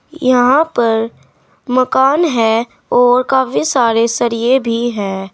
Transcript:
यहां पर मकान है और काफी सारे सरिये भी है।